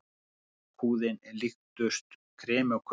Lakkhúðin líkust kremi á köku.